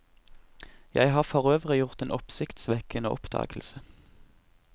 Jeg har forøvrig gjort en oppsiktsvekkende oppdagelse.